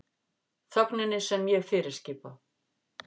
Þögninni sem ég fyrirskipa.